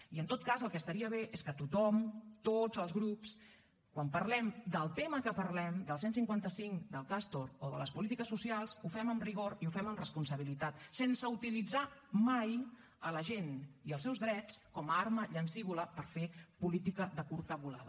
i en tot cas el que estaria bé és que tothom tots els grups quan parlem del tema que parlem del cent i cinquanta cinc del castor o de les polítiques socials ho fem amb rigor i ho fem amb responsabilitat sense utilitzar mai la gent i els seus drets com a arma llancívola per fer política de curta volada